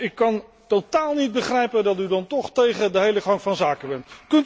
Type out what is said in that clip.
Ik kan dus totaal niet begrijpen dat u dan toch tegen de hele gang van zaken bent.